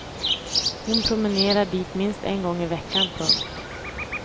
Hon promenerar dit minst en gång i veckan. punkt